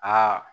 Aa